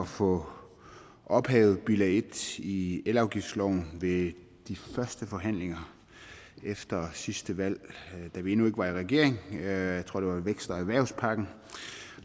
få ophævet bilag en i elafgiftsloven ved de første forhandlinger efter sidste valg da vi endnu ikke var i regering jeg tror det med vækst og erhvervspakken